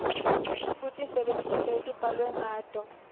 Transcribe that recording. kutisebentisa letibhalwe ngato